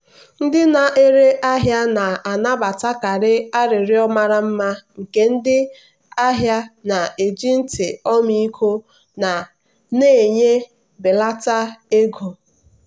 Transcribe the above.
ndị na-ere ahịa na-anabatakarị arịrịọ mara mma nke ndị ahịa na-eji ntị ọmịiko na-enye mbelata ego.